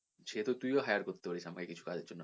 সেত তুই ও hire করতে পারিস আমায় কিছু কাজের জন্য